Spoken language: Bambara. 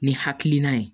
Ni hakilina ye